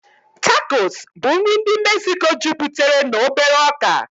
Tacosu bụ nri ndị Mexico juputere na obere ọkà.